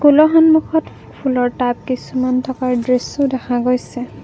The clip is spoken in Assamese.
স্কুলৰ সন্মুখত ফুলৰ টাব কিছুমান থকাৰ দৃশ্যও দেখা গৈছে।